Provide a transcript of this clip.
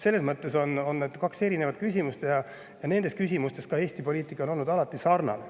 Need on kaks erinevat küsimust ja nendes küsimustes on Eesti poliitika olnud alati sarnane.